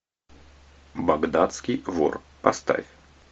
багдадский вор поставь